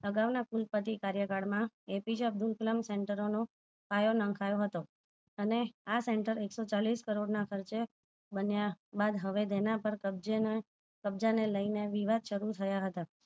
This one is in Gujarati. અગાઉ ના કુલ પતિ કાર્ય કાલ માં એપીજે અબ્દુલ કલામ center નો પાયો નખાયો હતો અને આ center એકસો ચાલીસ કરોડ ના ખર્ચે બન્યા બાદ હવે તેના પર કબજે કબજેને લઈને તેના પર વિવાદ શરુ થયા હતા